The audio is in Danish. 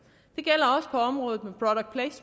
og og området